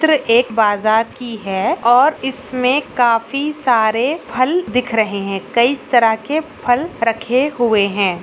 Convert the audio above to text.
चित्र एक बाजार की है और इसमें काफी सारे फल दिख रहे हैं कई तरह के फल रखे हुए हैं|